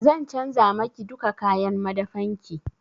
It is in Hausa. Zan canja ma ki duka kayan madafan ki.